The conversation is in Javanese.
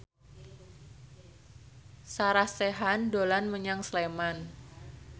Sarah Sechan dolan menyang Sleman